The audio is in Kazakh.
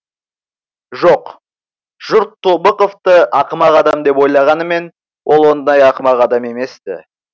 жоқ жұрт тобықовты ақымақ адам деп ойлағанымен ол ондай ақымақ адам емес ті